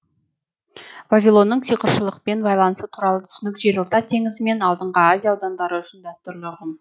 вавилонның сиқыршылықпен байланысы туралы түсінік жерорта теңізі мен алдыңғы азия аудандары үшін дәстүрлі ұғым